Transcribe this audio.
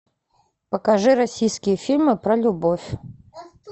покажи российские фильмы про любовь